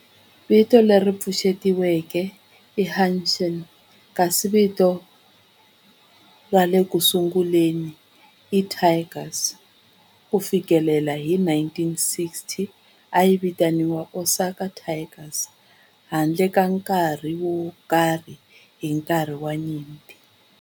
Vito leri pfuxetiweke i Hanshin kasi vito ra xirhangiso i Tigers. Ku fikela hi 1960, a yi vitaniwa Osaka Tigers handle ka nkarhi wo karhi hi nkarhi wa nyimpi.